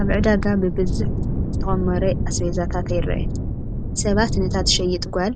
ኣብ ዕዳጋ ብብዙሕ ዝተኾመረ ኣስቤዛታት ይረአ፡፡ ሰባት ነታ ትሸይጥ ጓል